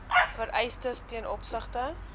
vereistes ten opsigte